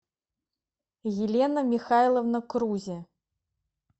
елена михайловна крузе